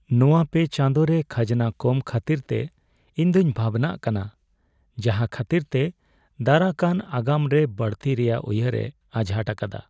ᱱᱚᱶᱟ ᱯᱮ ᱪᱟᱸᱫᱳ ᱨᱮ ᱠᱷᱟᱡᱱᱟ ᱠᱚᱢ ᱠᱷᱟᱹᱛᱤᱨᱛᱮ ᱤᱧ ᱫᱩᱧ ᱵᱷᱟᱵᱱᱟᱜ ᱠᱟᱱᱟ, ᱡᱟᱦᱟᱸ ᱠᱷᱟᱹᱛᱤᱨ ᱛᱮ ᱫᱟᱨᱟᱠᱟᱱ ᱟᱜᱟᱢ ᱨᱮ ᱵᱟᱹᱲᱛᱤ ᱨᱮᱭᱟᱜ ᱩᱭᱦᱟᱹᱨᱮ ᱟᱡᱷᱟᱴ ᱟᱠᱟᱫᱟ ᱾